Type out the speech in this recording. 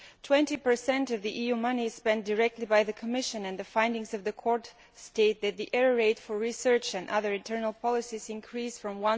20 of EU money is spent directly by the Commission, and the findings of the Court state that the error rate for research and other internal policies increased from